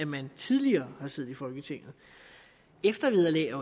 man tidligere har siddet i folketinget eftervederlag